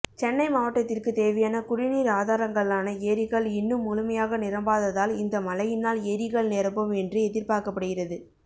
சென்னை மாவட்டத்திற்கு தேவையான குடிநீர் ஆதாரங்களான ஏரிகள் இன்னும் முழுமையாக நிரம்பாததால் இந்த மழையினால் ஏரிகள் நிரம்பும் என்று எதிர்பார்க்கப்படுகிறது